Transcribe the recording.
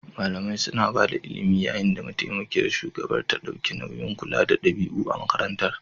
Malamai suna ba da ilimi yayin da mataimakiyar shugabar ta ɗauki nauyin kula da ɗabi'u a makarantar.